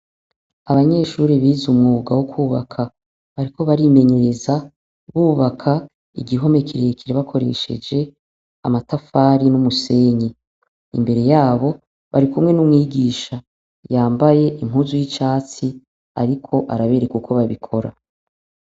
Abanyeshuri biza umwuga wo kwubaka bariko barimenyereza bubaka igihomekirekere bakoresheje amatafari n'umusenyi, imbere yabo bari kumwe n'umwigisha yambaye impuzu y'icatsi, ariko arabereka uko babikora.